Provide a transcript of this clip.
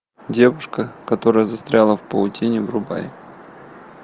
девушка которая застряла в паутине врубай